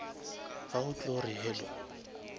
ga o tlo re hello